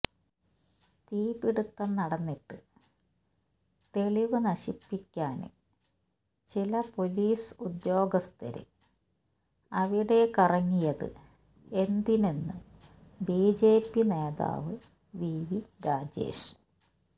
തീപിടിത്തം നടന്നിട്ട് തെളിവ് നശിപ്പിക്കാന് ചില പൊലീസ് ഉദ്യോഗസ്ഥര് അവിടെ കറങ്ങിയത് എന്തിനെന്ന് ബിജെപി നേതാവ് വിവി രാജേഷ്